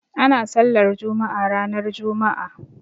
Ana sallar juma'a ranar juma'a